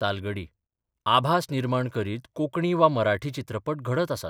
तालगडी आभास निर्माण करीत कोंकणी वा मराठी चित्रपट घडत आसात.